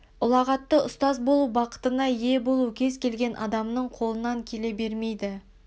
ұлағатты ұстаз болу бақытына ие болу кез келген адамның қолынан келе бермейді